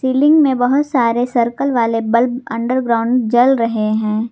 Building में बहुत सारे सर्कल वाले बल्ब अंडरग्राउंड जल रहे हैं।